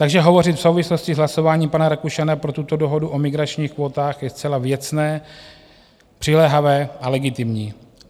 Takže hovořit v souvislosti s hlasováním pana Rakušana pro tuto dohodu o migračních kvótách je zcela věcné, přiléhavé a legitimní.